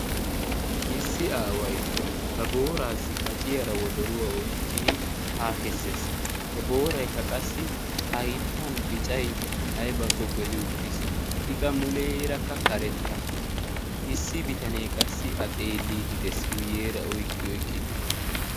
issi aaway ba booraassi kaciyaara wodoruwaa oyqqidi haa kessees he booraykka qassi hayttan bicay aybbakko geli uttiis ikka muleerakka karetta issi bitanee qassi a xeelliidi dees guyyeera oyqqi oyqqidii